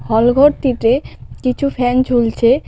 হলঘরটিতে কিছু ফ্যান ঝুলছে .